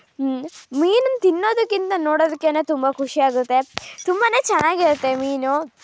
ಮೀನನ್ನ ತಿನ್ನೋದಕ್ಕಿಂತ ನೋಡದ್ದಕ್ಕೇನೆ ತುಂಬಾ ಖುಷಿ ಆಗುತ್ತೆ ತುಂಬಾನೇ ಚೆನ್ನಾಗ್ ಇರುತ್ತೆ ಮೀನು.